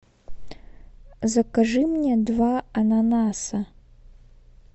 закажи мне два ананаса